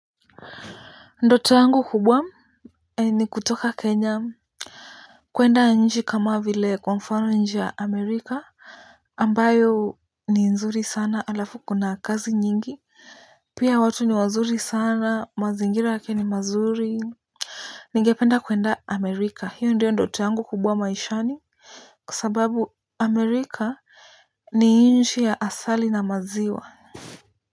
Ndoto yangu kubwa ni kutoka Kenya kuenda inchi kama vile kwa mfano inchi ya Amerika ambayo ni nzuri sana, alafu kuna kazi nyingi. Pia watu ni wazuri sana mazingira yake ni mazuri ningependa kuenda Amerika hiyo ndiyo ndoto yangu kubwa maishani kwa sababu Amerika ni inchi ya asali na maziwa.